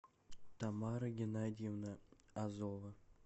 тамара геннадьевна азова